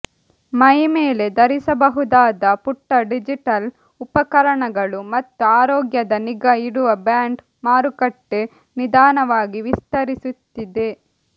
ಮೈಮೇಲೆ ಧರಿಸಬಹುದಾದ ಪುಟ್ಟ ಡಿಜಿಟಲ್ ಉಪಕರಣಗಳು ಮತ್ತು ಆರೋಗ್ಯದ ನಿಗಾ ಇಡುವ ಬ್ಯಾಂಡ್ ಮಾರುಕಟ್ಟೆ ನಿಧಾನವಾಗಿ ವಿಸ್ತರಿಸುತ್ತಿದೆ